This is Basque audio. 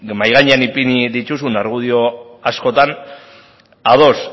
mahai gainean ipini dituzun argudio askotan ados